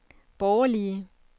borgerlige